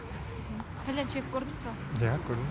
кальян шегіп көрдіз ба иә көрдім